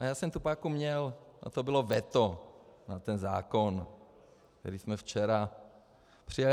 A já jsem tu páku měl a to bylo veto na ten zákon, který jsme včera přijali.